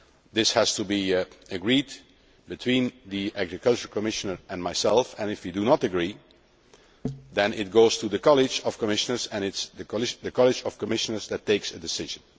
This has to be agreed between the Agriculture Commissioner and myself, and if we do not agree then it goes to the College of Commissioners and it is the College of Commissioners which takes the decision.